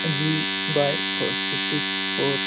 G by fifty four.